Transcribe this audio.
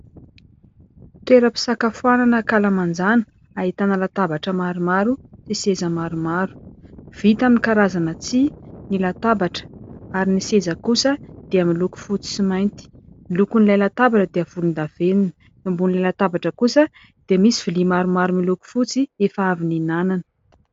Toeram-pisakafoana ankalamanjana, ahitana latabatra maromaro sy seza maromaro, vita amin'ny karazana tsihy ny latabatra, ary ny seza kosa dia miloko fotsy sy mainty, ny lokon'ilay latabatra dia volondavenona, eo ambonin'ilay latabatra kosa dia misy vilia maromaro miloko fotsy efa avy nihinanana.